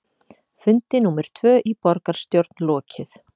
Fundi númer tvö í borgarstjórn lokið